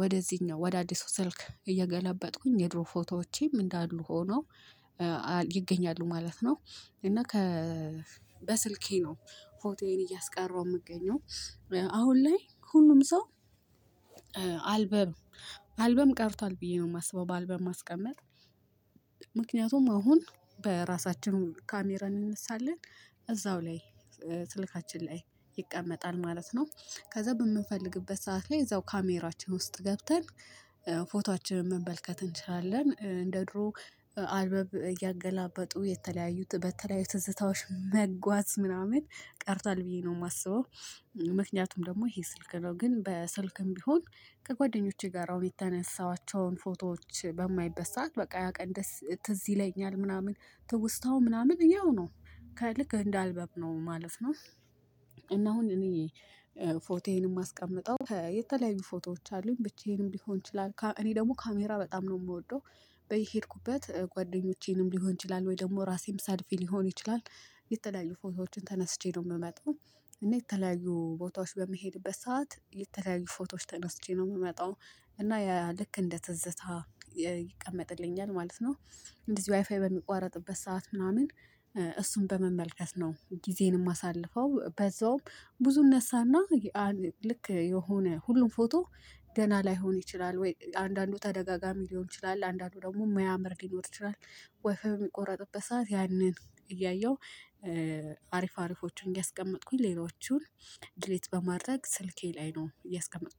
ወደዚህኛው ወደ አዲሱ ስልክ እየገለበጥኩኝ የድሮ ፎቶዎቼም እንዳሉ ሆኖ ይገኛሉ ማለት ነው። እና ከ በስልኬ ነው ፎቶዬን እያስቀረው የምገኘው። አሁን ላይ ሁሉም ሰው አልበም ቀርቷል ብዬ ነው የማስበው። በአልበም ማስቀመጥ ምክንያቱም አሁን በራሳችን ካሜራ እንነሳለን እዛው ላይ ስልካችን ላይ ይቀመጣል ማለት ነው። ከዛ በምንፈልግበት ሰዓት ላይ እዛው ካሜራችን ውስጥ ገብተን ፎቶአችንን መመልከት እንችላለን እንደ ድሮ አልበም እያገላበጡ የተለያዩት በተለያዩ ትዝታዎች መጓዝ ምናምን ቀርቷል ብዬ ነው የማስበው። ምክንያቱም ደግሞ ይሄ ስልክ ነው ግን በስልክም ቢሆን ከጓደኞቼ ጋር አሁን የተነሳኋቸውን ፎቶዎች በማይበት በቃ ያ ቀን ደስ ትዝ ይለኛል ምናምን ትውስታው ምናምን ያው ነው። ልክ እንደ አልበም ነው ማለፍ ነው። እና አሁን እኔ ፎቶዬንም ማስቀምጠው የተለያዩ ፎቶዎች አሉኝ ብቻዬንም ሊሆን ይችላል እኔ ደግሞ ካሜራ በጣም ነው የምወደው። በሄድኩበት ጓደኞቼንም ሊሆን ይችላል ወይ ደግሞ ራሴም ሰልፊ ሊሆን ይችላል። የተለያዩ ፎቶዎችን ተነስቼ ነው የምመጣው። እና የተለያዩ ቦታዎች በመሄድበት ሰዓት የተለያዩ ፎቶዎች ተነስቼ ነው የምመጣው። እና ያ ልክ እንደ ትዝታ ይቀመጥልኛል ማለት ነው። እንደዚህ ዋይፋይ በሚቋረጥበት ሰዓት ምናምን እሱን በመመልከት ነው ጊዜንም ማሳልፈው በዛውም ብዙ እነሳና ልክ የሆነ ሁሉም ፎቶ ደና ላይሆን ይችላል ወይ አንዳንዱ ተደጋጋሚ ሊሆን ይችላል። አንዳንዱ ደግሞ ማያምር ሊኖር ይችላል። ዋይፋይ በሚቆረጥበት ሰዓት ያንን እያየሁ አሪፍ አሪፎቹን እያስቀመጥኩኝ ሌሎቹን ዲሊት በማድረግ ስልኬ ላይ ነው እያስቀመጥኩ